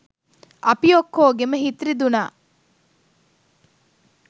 අපි ඔක්කෝගෙම හිත් රිදුනා.